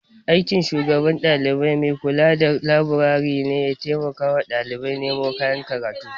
Aikin shugaban dalibai maikula da laburare ne ya taimakawa ɗalibai nemo kayan karatu.